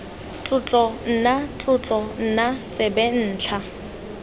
tlotlo nna tlotlo nna tsebentlha